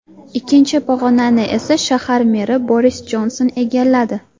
Ikkinchi pog‘onani esa shahar meri Boris Jonson egalladi.